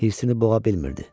Hirsini boğa bilmirdi.